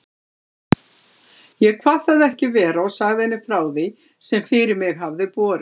Ég kvað það ekki vera og sagði henni frá því, sem fyrir mig hafði borið.